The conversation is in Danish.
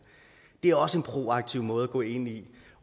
det er også en proaktiv måde at gå ind i